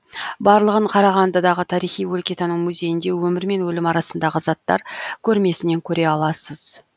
барлығын қарағандыдағы тарихи өлкетану музейінде өмір мен өлім арасындағы заттар көрмесінен көре аласыз